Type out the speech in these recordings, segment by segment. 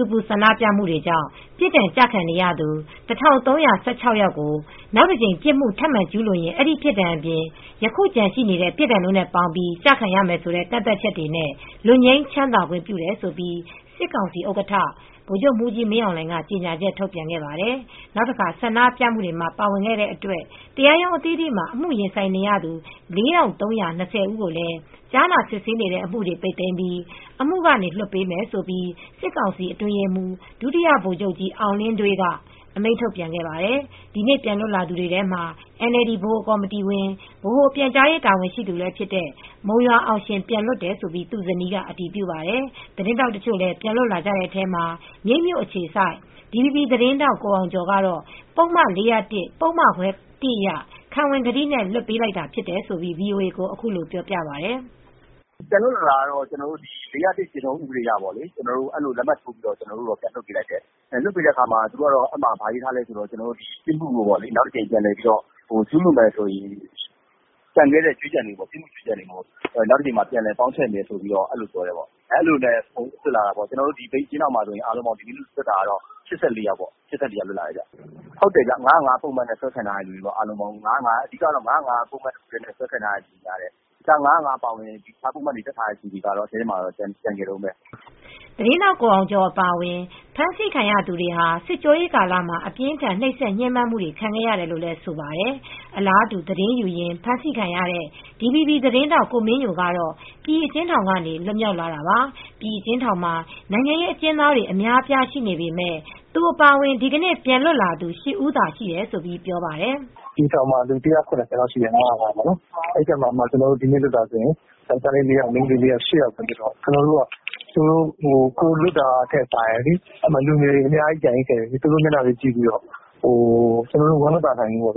ူပူဆန္ဒပြမှုတွေကြောင့် ပြစ်ဒဏ်ကျခံနေရသူ ၁,၃၁၆ ယောက်ကို နောက်တကြိမ် ပြစ်မှု ထပ်မံကျူးလွန်ရင် အဲဒီပြစ်ဒဏ်အပြင် ယခုကျန်ရှိတဲ့ ပြစ်ဒဏ်တို့နဲ့ ပေါင်းပြီး ကျခံရမယ်ဆိုတဲ့ ကန့်သတ်ချက်နဲ့ လွတ်ငြိမ်းချမ်းသာခွင့်ပြုတယ်လို့ စစ်ကောင်စီ ဥက္ကဋ္ဌ ဗိုလ်ချုပ်မှူးကြီးမင်းအောင်လှိုင်က ကြေညာချက်ထုတ်ပြန်ခဲ့ပါတယ်။ နောက်တခါ ဆန္ဒပြမှုတွေမှာ ပါဝင်ခဲ့တဲ့ အတွက် တရားရုံးအသီးသီးမှာ အမှုရင်ဆိုင်နေရသူ ၄,၃၂၀ ကိုလည်း ကြားနာစစ်ဆေးနေတဲ့ အမှုတွေ ပိတ်သိမ်းပြီး အမှုကနေ လွှတ်ပေးမယ်လို့ စစ်ကောင်စီအတွင်းရေးမှူး ဒုတိယဗိုလ်ချုပ်ကြီး အောင်လင်းဒွေးက အမိန့်ထုတ်ပြန်ခဲ့ပါတယ်။ ဒီနေ့ပြန်လွတ်လာသူတွေထဲမှာ NLD ဗဟိုကော်မတီဝင်၊ ဗဟိုပြန်ကြားရေးတာဝန်ရှိသူတယောက်ဖြစ်တဲ့ မုံရွာအောင်ရှင် ပြန်လွတ်တယ်လို့ သူ့ဇနီးက အတည်ပြုပါတယ်။ သတင်းထောက်တချို့လည်း ပြန်လွတ်လာကြတဲ့ထဲမှာ မြိတ်မြို့အခြေစိုက် DVB သတင်းထောက် ကိုအောင်ကျော် က ပုဒ်မ ၄၀၁ ပုဒ်မခွဲ (၁) အရ ခံဝန်ကတိနဲ့ လွှတ်ပေးတာဖြစ်တယ်လို့ VOA ကို အခုလိုပြောပြပါတယ်။ “ပြန်လွတ်လာတာကတော့ ၄၀၁ ဥပဒေအရပေါ့လေ၊ ကျနော်တို့ လက်မှတ်ထိုးပြီးပြန်လွှတ်ပေးလိုက်တယ်။ လွှတ်ပေးထားတော့ ဘာရေးထားလဲဆိုတော့ ဒီပြစ်မှုကို နောက်တကြိမ်မှာ ကျူးလွန်မယ်ဆိုရင်တော့ကျန်ခဲ့တဲ့အကြွေးကျန်တွေကို နောက်တကြိမ်မှာ ပြန်လည်ပေါင်းထည့်မယ်လို့ပြောတယ်။ ကျနော်တို့မြိတ် အကျဉ်းထောင်မှာ ၈၄ ယောက်လွတ်တယ်။ ၅၀၅ ပုဒ်မနဲ့ ဆွဲခံထားရသူတွေများတယ်။ ၅၀၅ နဲ့ ဆွဲခံရသူတွေများတယ်။ ၅၀၅ အပြင်တခြားပုဒ်မတွေနဲ့ တပ်ခံရသူတွေက အထဲမှာကျန်နေရတုန်းပဲ။” သတင်းထာက် ကိုအောင်ကျော်အပါအဝင် ဖမ်းဆီးခံသူတွေဟာ စစ်ကြောရေးကာလမှာ အပြင်းအထန် နှိပ် စက်ညှင်းပမ်းမှုတွေ ခံခဲ့ရတယ်လို့ဆိုပါတယ်။ အလားတူ သတင်းယူရင်း အဖမ်းခံရတဲ့ DVB သတင်းထောက် ကိုမင်းညိုကတော့ ပြည်အကျဉ်းထောင်ကနေ လွတ်မြောက်လာတာပါ။ ပြည်အကျဉ်းထောင်မှာ နိုင်ငံရေး အကျဉ်းသားတွေအများအပြားရှိနေပေမယ့် သူအပါအဝင် ဒီကနေ့ပြန်လွတ်လာသူ ၈ ဦးသာရှိတယ်လို့ ပြောပါတယ်။ “ပြည်ထောင်မှာ ၁၇၀ လောက်ရှိတယ်။ ၅၀၅ နဲ့ဖမ်းရတာလေ။ ဒီနေ့လွတ်တာက ယောက်ကျားလေး ၄ ယောက်၊ မိန်းကလေး ၄ ယောက်။ ၈ ယောက်ပဲလွတ်သေးတယ်။ ကျနော်တို့က ကိုယ်လွတ်တာထက် လူငယ်တွေ အများကြီးကျန်သေးတယ်။ သူတို့မျက်နှာတွေကြည့်ပြီး ကျနော်တို့ ဝမ်းမသာနိုင်ဘူး။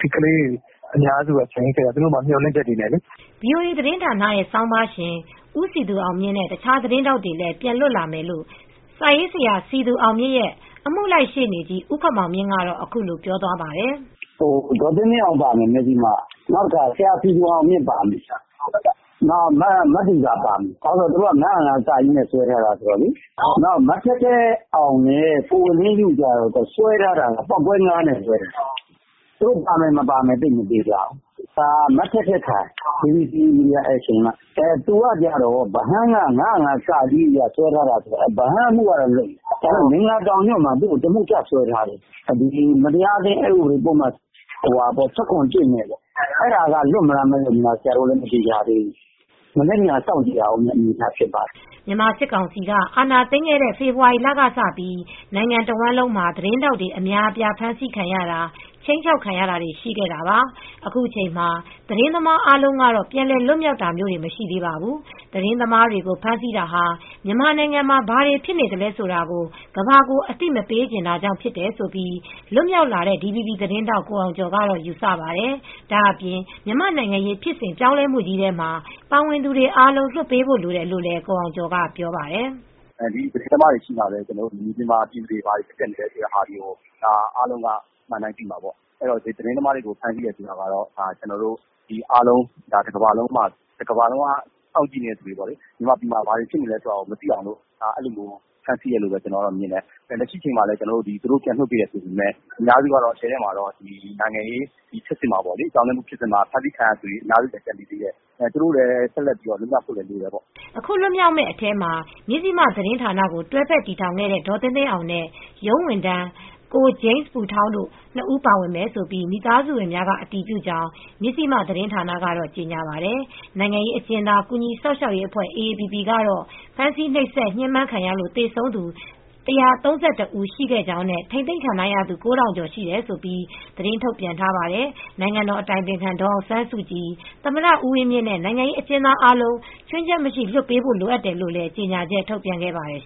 ဒီကလေးတွေ အများစုက ကျန်နေခဲ့တာ။ သူတို့မှာက မျှော်လင့်ချက်တွေနဲ့လေ။” ဗွီအိုအေသတင်းဌာန ဆောင်းပါးရှင် ဦးစည်သူအောင်မြင့်နဲ့တခြားသတင်းထောက်တွေလည်း ပြန်လွတ်လာမယ်လို့ စာရေးဆရာစည်သူအောင်မြင့်ရဲ့အမှုလိုက်ရှေ့နေကြီးဦးခင်မောင်မြင့်ကတော့ အခုလိုပြောသွားပါတယ်။ “ဒေါ်သင်းသင်းအောင်ပါမယ်-မဇ္ဈိမက။ ဆရာစည်သူအောင်မြင့်ပါပြီ။ မသူဇာပါမယ်။ သူတို့က ၅၀၅ (က) နဲ့ဆိုတော့။ မထက်ထက်အောင်နဲ့ ကိုနှင်းယုတို့ကျတော့ စွဲထားတာက ပေါက်ကွဲ (၅) နဲ့ဆိုတော့ ပါမယ်မပါမယ် မသေချာဘူး။ မထက်ထက်ခိုင်က BBC Media Action က။ သူက ဗဟန်း ၅၀၅ (က) က။ အဲဒါကတော့လွတ်တယ်။ နောက် မင်္ဂလာတောင်ညွန့်မှာ သူ့ကို တမှုထပ်စွဲထားတာကတော့ မတရားအသင်း ဥပဒေ ပုဒ်မ ၁၇ (၁) နဲ့။ သူကတော့ လွှတ်မလား မလွှတ်လားဆိုတာ မသေချာသေးဘူး။ မနက်ဖြန် စောင့်ကြည့်ရအုန်းမှာပေါ့။” မြန်မာစစ်ကောင်စီက အာဏာသိမ်းခဲ့တဲ့ ဖေဖေါ်ဝါရီလကစပြီး နိုင်ငံတဝှမ်းလုံးမှာ သတင်းထောက်တွေ အများအပြားဖမ်းဆီးခံရတာ၊ခြိမ်းခြောက်ခံရတာတွေ ရှိခဲ့တာပါ။ အခုချိန်မှာ သတင်းသမားအားလုံး ပြန်လည်လွတ်မြောက်တာမျိုး မရှိသေးပါဘူး။သတင်းသမားတွေကို ဖမ်းဆီးတာဟာ မြန်မာနိုင်ငံမှာ ဘာတွေ ဖြစ်နေသလဲဆိုတာကို ကမ္ဘာကိုအသိမပေးချင်ကြောင့်ဖြစ်တယ်လို့ လွတ်မြောက်လာတဲ့ DVB သတင်းထောက် ကိုအောင်ကျော်ကတော့ယူဆပါတယ်။ ဒါ့အပြင် မြန်မာ့နိုင်ငံရေးဖြစ်စဉ်ပြောင်းလဲမှုကြီးထဲမှာ ပါဝင်သူတွေအားလုံး လွှတ်ပေးဖို့လိုတယ်လို့လည်း ကိုအောင်ကျော်ကပြောပါတယ်။ “သတင်းသမားတွေရှိမှ မြန်မာနိုင်ငံမှာ ဘာတွေဖြစ်နေမလဲဆိုတာ အားလုံးကအမှန်အတိုင်းသိမှာပေါ့။သတင်းသမားတွေကိုဖမ်းဆီးတယ်ဆိုတာက တကမ္ဘာလုံးက စောင့်ကြည့်နေတဲ့သူတွေလေ။ မြန်မာပြည် မှာ ဘာတွေဖြစ်သလဲဆိုတာကို မသိအောင်လို့ ဖမ်းဆီးတယ်လို့မြင်တယ်။ လက်ရှိမှာ ပြန်လွှတ်ပေးတယ် ဆိုပေမယ့် အများစုကြီးက နိုင်ငံရေးဖြစ်စဉ်ပြောင်းလဲမှုကြီးမှာ ဖမ်းဆီးခံရသူတွေ အများကြီးကျန်သေးတယ်။ သူတို့လည်း ပြန်လည်လွတ်မြောက်ဖို့တော့လိုတာပေါ့။” အခုပြန်လွတ်မြောက်မယ့်အထဲမှာ မဇ္ဈိမ သတင်းဌာနကို တွဲဖက် တည်ထောင်ခဲ့တဲ့ ဒေါ်သင်းသင်းအောင်နဲ့ ရုံးဝန်ထမ်း ကိုဂျိမ်းပူထောင်းတို့ နှစ်ဦးပါဝင်မယ်လို့ မိသားစုဝင်များက အတည်ပြုကြောင်း မဇ္ဈိမသတင်းဌာန ကတော့ကြေညာပါတယ်။ နိုင်ငံရေးအကျဉ်းသား ကူညီစောင့်ရှောက်ရေးအဖွဲ့ AAPP ကတော့ ဖမ်းဆီးရင်း နှိပ်စက်ညှင်းပမ်းခံရလို့သေဆုံး ၁၃၁ ဦးရှိခဲ့ကြောင်းနဲ့ ထိန်းသိမ်းခံထားရသူ ၉,၀၀၀ ကျော်ရှိတယ်လို့ သတင်းထုတ်ပြန်ထားပါတယ်။ နိုင်ငံတော်အတိုင်ပင်ခံ ဒေါ်အောင်ဆန်းစုကြည်၊ သမ္မတဦးဝင်းမြင့်နဲ့ နိုင်ငံရေး အကျဉ်းသားအားလုံး ချွင်းချက်မရှိလွှတ်ပေးဖို့လိုတယ်လို့လည်း ကြေညာချက်ထုတ်ပြန်ခဲ့ပါတယ်